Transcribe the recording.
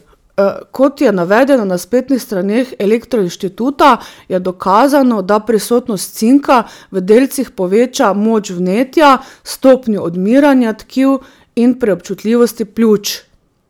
Kot je navedeno na spletnih straneh elektroinštituta, je dokazano, da prisotnost cinka v delcih poveča moč vnetja, stopnjo odmiranja tkiv in preobčutljivosti pljuč.